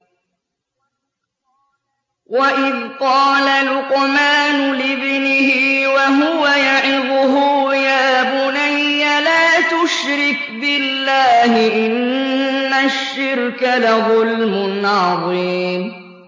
وَإِذْ قَالَ لُقْمَانُ لِابْنِهِ وَهُوَ يَعِظُهُ يَا بُنَيَّ لَا تُشْرِكْ بِاللَّهِ ۖ إِنَّ الشِّرْكَ لَظُلْمٌ عَظِيمٌ